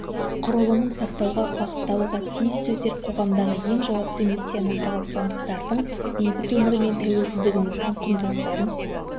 құрылымын сақтауға бағытталуға тиіс сіздер қоғамдағы ең жауапты миссияны қазақстандықтардың бейбіт өмірі мен тәуелсіздігіміздің құндылықтарын